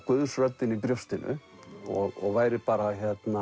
Guðs röddin í brjóstinu og væri bara